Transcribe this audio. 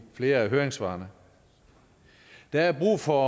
flere af høringssvarene der er brug for